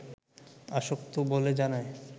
আসক্ত বলে জানায়